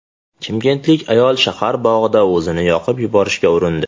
Chimkentlik ayol shahar bog‘ida o‘zini yoqib yuborishga urindi.